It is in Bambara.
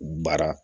Baara